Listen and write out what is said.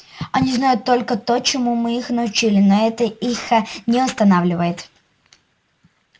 они знают только то чему мы их научили но это их не останавливает